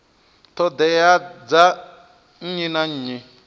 ṱhoḓea dza nnyi na nnyi